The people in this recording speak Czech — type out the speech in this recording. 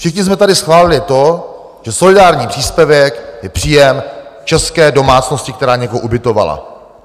Všichni jsme tady schválili to, že solidární příspěvek je příjem české domácnosti, která někoho ubytovala.